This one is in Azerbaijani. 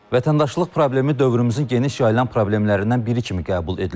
Vətəndaşlıq problemi dövrümüzün geniş yayılan problemlərindən biri kimi qəbul edilir.